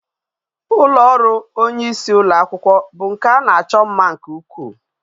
Ulo oru onye isi ulo akwukwo bu nke a na acho mma nke ukwu